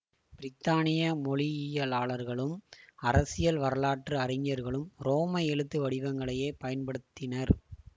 பிரித்தானிய மொழியியலாளர்களும் அரசியல் வரலாற்று அறிஞர்களும் ரோம எழுத்து வடிவங்களையே பயன்படுத்தினர்